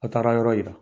A taara yɔrɔ yira